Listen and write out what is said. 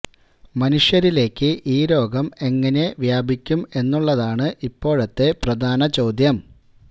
മനുഷ്യരിലേക്ക് ഈ രോഗം എങ്ങനെ വ്യാപിക്കും എന്നുള്ളതാണ് ഇപ്പോഴത്തെ പ്രധാന ചോദ്യം